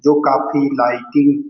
जो काफी लाइटिंग --